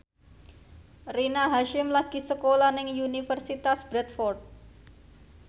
Rina Hasyim lagi sekolah nang Universitas Bradford